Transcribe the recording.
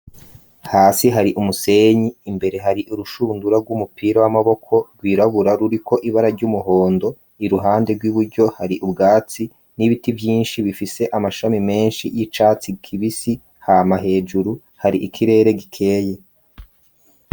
Hasi hari umusenyi imbere hari urushundura rw'umupira w'amaboko rwirabura ruriko ibara ry'umuhondo iruhande rw'iburyo hari ubwatsi n'ibiti vyinshi bifise amashami menshi y'icatsi kibisi hama hejuru hari ikirere gikeye.